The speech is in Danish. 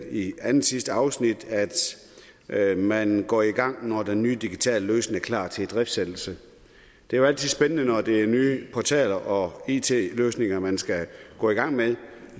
i andetsidste afsnit at man går i gang når den nye digitale løsning er klar til idriftsættelse det er jo altid spændende når det er nye portaler og it løsninger man skal gå i gang med